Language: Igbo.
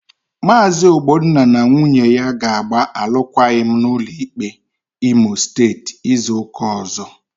Maazi Ogbonna na nwunye ya ga-agba alụkwaghịm n'ụlọ ikpe Imo Steeti izu ụka ọzọ.